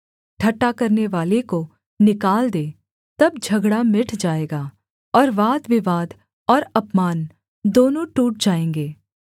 ठट्ठा करनेवाले को निकाल दे तब झगड़ा मिट जाएगा और वादविवाद और अपमान दोनों टूट जाएँगे